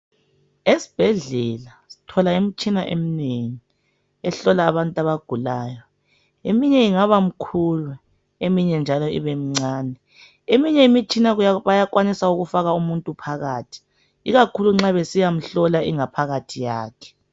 Esibhedlela sithola imitshina eminengi ehlola abantu abagulayo eminye ingaba mkhulu eminye njalo ibemncane. Eminye imitshina bayakwanisa ukufaka umuntu phakathi ikakhulu nxa besiyamhlola ingaphakathi yakhe.